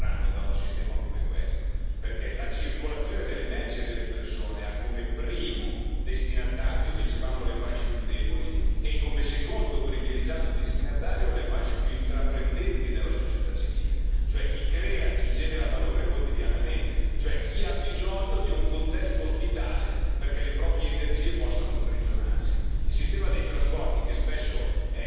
Per non parlare dell'utilità che le imprese avranno da un sistema come questo, perché la circolazione delle merci e delle persone ha come primo destinatario le fasce più deboli e come secondo privilegiato destinatario le fasce più intraprendenti della società civile, cioè chi crea, chi genera valore quotidianamente, chi ha bisogno di un contesto ospitale perché le proprie energie possano sprigionarsi.